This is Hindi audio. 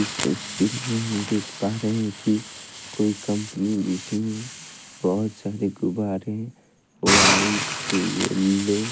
इस तस्वीर में मैं देख पा रही हूं कि कोई कंपनी जिसमें बहोत सारे गुब्बारें व्हाइट येल्लो --